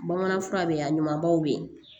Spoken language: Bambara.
Bamanan fura bɛ yen a ɲumanbaw bɛ yen